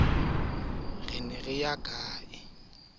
ya ho ithuisa e ka